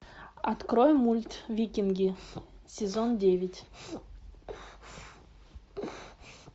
открой мульт викинги сезон девять